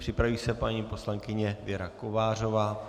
Připraví se paní poslankyně Věra Kovářová.